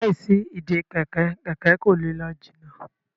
láì sí Ìdè kẹ̀kẹ́, kẹkẹ kò lẹ ló jìnà